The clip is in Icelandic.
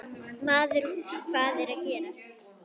Maður, hvað er að gerast?